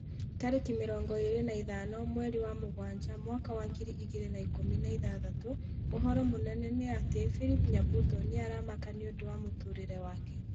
Tarĩki mĩrongo ĩrĩ na ithano mweri wa mũgwanja mwaka wa ngiri igĩrĩ na ikũmi na ithathatũ ũhoro mũnene nĩ ati philip nyabuto nĩ aramaka nĩũndũ wa mũtũrĩre wake